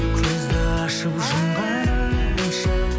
көзді ашып жұмғанымша